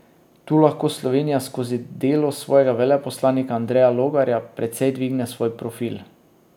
Tu lahko Slovenija skozi delo svojega veleposlanika Andreja Logarja precej dvigne svoj profil.